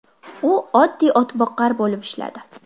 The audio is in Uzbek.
U oddiy otboqar bo‘lib ishladi.